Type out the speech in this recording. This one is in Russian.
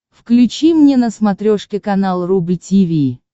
включи мне на смотрешке канал рубль ти ви